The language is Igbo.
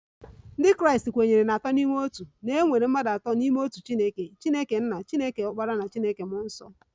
Ndị Kraịst kwenyere na Atọ n'Ime Otu, na e nwere mmadụ atọ n'otu Chineke, Chineke nna, Chineke ọkpara na Chineke mmụọ nsọ